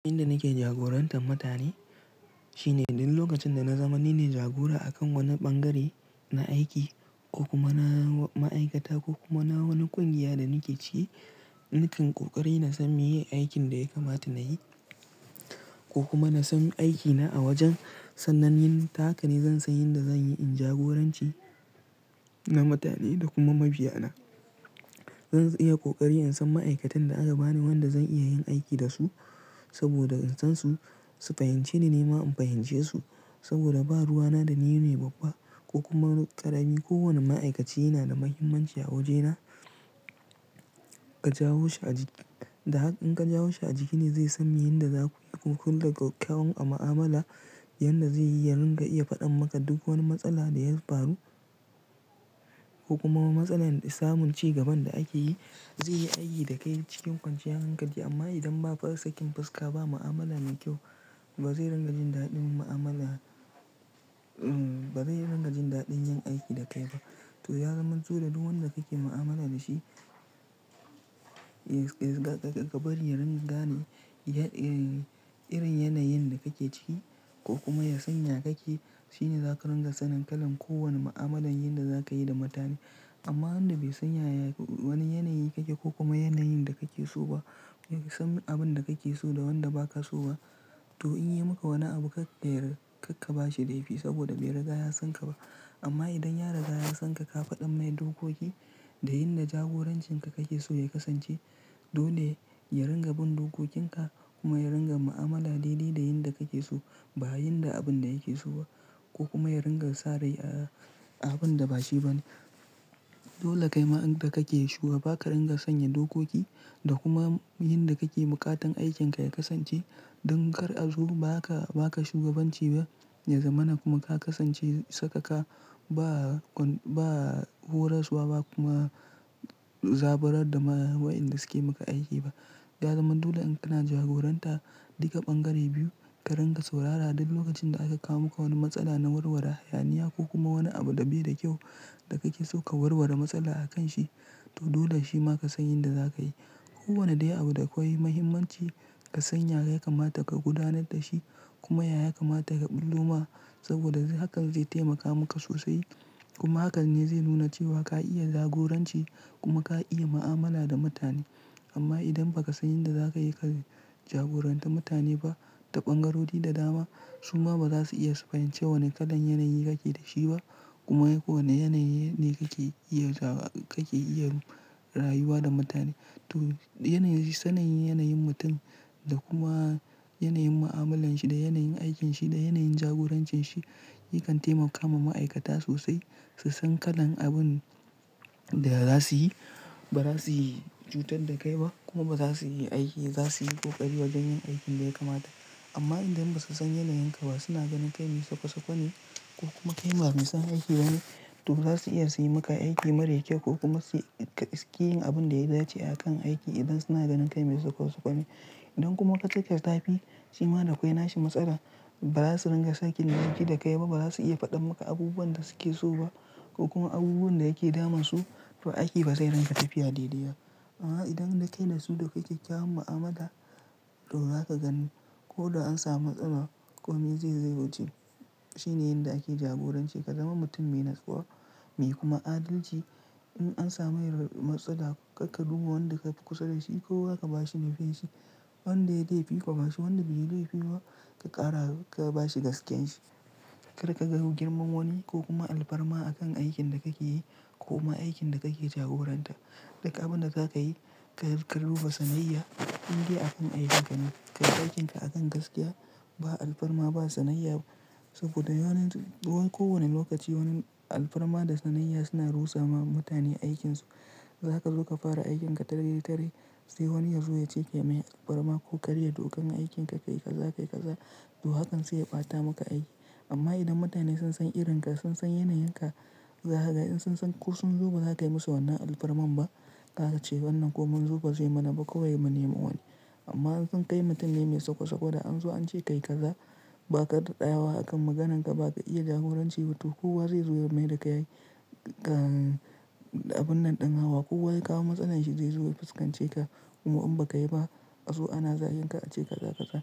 Yanda nake jagorantar mutane shine duk lokacin da na zama ni ne jagora akan wani ɓangare na aiki ko kuma na ma'aikata ko kuma na wani ƙungiya da nake ciki, nakan ƙoƙari na san meye aikin da ya kamata nayi ko kuma na san aikina a wajen. Sannan, yin tahaka ne zan san yadda zan yi in jagoranci na mutane da kuma mabiya na. Zan iya ƙoƙari in san ma'aikatan da aka bani wanda zan iya yin aiki da su saboda in san su, su fahimce ni, nima in fahimce su saboda ba ruwa na da ni ne babba ko kuma ƙarami. Kowane ma'aikaci yana da muhimmanci a wajena. Ka jawo shi a jiki, da haka in ka jawo shi a jiki ne zai san yadda za ku, kun da kyawun a mu'amala, yadda zai yi yarin ga ka iya faɗan maka duk wani matsala da ya faru ko kuma matsala samun cigaban da ake yi. Zai yi aiki da kai cikin kwanciyar hankali amma idan ba farasakin fuska ba, mu'amala mai kyau ba zai ringa jin daɗin mu'amala, ba zai ringa jin daɗin yin aiki da kai ba. To, ya zama dole duk wanda kake mu'amala da shi, ga, ga, ga bari ya ringa gane irin yanayin da kake ciki ko kuma ya sanya kake shine za ka ringa sanin kalan kowane mu'amalar yadda za ka yi da mutane. Amma wanda bai san yaya wani yanayi kake ko kuma yanayin da kake so ba, ya san abin da kake so da wanda ba ka so ba, to in ya yi maka wani abu kar, kar ka ba shi laifi saboda bai riga ya san ka ba. Amma idan ya riga ya san ka, ka faɗan mai dokoki da yadda jagorancin ka kake so ya kasance, dole ya ringa bin dokokin ka kuma ya ringa mu'amala daidai da yadda kake so ba yadda abin da yake so ba ko kuma ya ringa sarai a abun da ba shi ba ne. Dole kaima inda kake shugaba ka dinga sanya dokoki da kuma yanda kake buƙatar aikinka ya kasance. Don kar a zo ba ka, ba ka shugabanci ba, ya zamana kuma ka kasance sakaka ba, ba horaswa ba kuma zaburar da wa'yanda suke maka aiki ba. Ya zama dole in kana jagoranta duka ɓangare biyu, ka ringa saurara duk lokacin da aka kawo maka wani matsala na warwara hayaniya ko kuma wani abu da bai da kyau da kake so ka warwara matsala akan shi. To, dole shi maka san yadda za ka yi. Kowane dai abu da kawai muhimmanci ka sanya ya kamata ka gudanar da shi kuma ya kamata ka ɓullo ma saboda hakan zai taimaka maka sosai. Kuma hakan ne zai nuna cewa ka iya jagoranci kuma ka iya mu'amala da mutane. Amma idan ba ka san yadda za ka yi ka jagoranta mutane ba ta ɓangarori da dama, su ma ba za su iya su fahimci wane kalan yanayi kake da shi ba. Kuma ko wane yanayi ne kake iya, kake iya rayuwa da mutane. To, yanayi, sanin yanayin mutum da kuma yanayin mu'amalan shi da yanayin aikin shi da yanayin jagorancin shi yakan taimaka ma ma'aikata sosai su san kalan abin da za su yi. Ba za su yi cutar da kai ba kuma ba za su yi aiki, za su yi ƙoƙari wajen yin aikin da ya kamata. Amma idan basusan yanayinka ba suna ganin kai mai sakwa-sakwa ne ko kuma kai ba mai son aiki bane to zasu iya suyi maka aiki mara kyau ko kuma suƙiyin abinda yadace akan aiki idan suna ganin kai mai sakwa-sakwa ne. Idan kuma ka cika zafi, shi ma da kawai nashi matsalan. Ba za su ringa sake yin aiki da kai ba. Ba za su iya faɗan maka abubuwan da suke so ba ko kuma abubuwan da yake damun su. To, aiki ba zai ringa tafiya daidai ba. Amma idan dai kai ne su da kake kyawun mu'amala, to za ka gani ko da an samu matsala komai zai, zai wuce. Shi ne yadda ake jagoranci. Ka zama mutum mai natsuwa, mai kuma adalci. In an samu matsala kar ka duba wanda kafi kusa da shi kowa ka ba shi laifin shi. Wanda ya laifi ka ba shi, wanda bai yi laifi ba ka ƙara ka ba shi gaskiyar shi. Kar kaga girmanwani ko kuma alfarma a kan aikin da kake yi ko ma aikin da kake jagoranta. Duk abinda zakayi karka duba sanayya indai akan aikinka ne kayi aikinka akan gaskiya, ba alfarma ba sanayya saboda ranar kowani lokaci alfarma da sanayya suna rusa ma mutane aikinsu. Za ka zo ka fara aikin ka tare tare sai wani ya zo ya ce ya mai alfarma ko karya dokan aikin kayi kaza, ka yi kaza. To, hakan zai ɓata maka aiki. Amma idan mutane sun san irin ka, sun san yanayin ka, za ka ga in sun san ko sun zo ba za kai musu wannan alfarman ba. Za su ce wannan ko mun zo ba zai mana ba kawai mu nema wani. Amma in sun kai mutum ne mai sakwa-sakwa da an zo an ce ka yi kaza ba ka da tsaya wa akan maganar ka ba ka iya jagoranci bato. Kowa zai zo ya mai da ka yi abun nan ɗin hawa. Kowa ya kawo matsalar shi zai zo ya fuskance ka kuma in ba ka yi ba a zo ana zagin ka a ce kaza kaza.